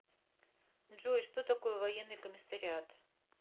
джой что такое военный комиссариат